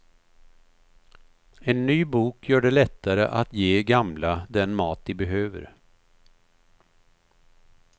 En ny bok gör det lättare att ge gamla den mat de behöver.